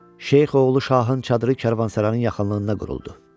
Şeyxoğlu Şahın çadırı Karvansaranın yaxınlığında quruldu.